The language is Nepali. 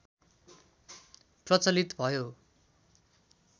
प्रचलित भयो